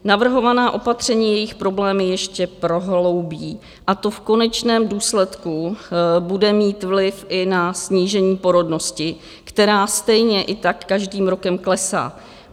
Navrhovaná opatření jejich problémy ještě prohloubí, a to v konečném důsledku bude mít vliv i na snížení porodnosti, která stejně i tak každým rokem klesá.